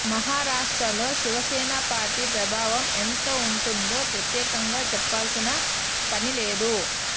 మహారాష్ట్రలో శివసేన పార్టీ ప్రభావం ఎంత ఉంటుందో ప్రత్యేకంగా చెప్పాల్సిన పని లేదు